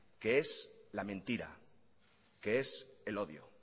que es la mentira que es el odio